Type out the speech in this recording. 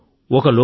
అని అన్నారు కదా